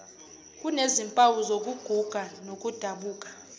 kunezimpawu zokuguga nokudabuka